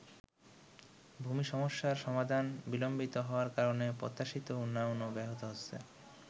ভূমি সমস্যার সমাধান বিলম্বিত হওয়ার কারণে প্রত্যাশিত উন্নয়নও ব্যাহত হচ্ছে।